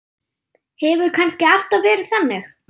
Hefur kannski alltaf verið þannig?